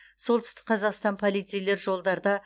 солтүстікқазақстан полицейлер жолдарда